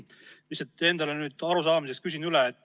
Lihtsalt, et asjast aru saada, ma küsin üle.